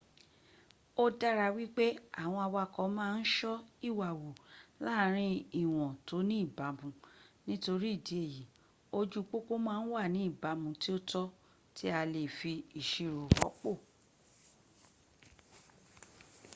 ó dára wípé àwọn awakọ̀ ma ń ṣọ́ ìwà wù láàrin ìwọ̀n tó ní ìbámú ; nítorí ìdí èyí ojú pópó ma ń wà ní ìbámu tí ó tọ́ tí a lefi ìṣirò rọ́pò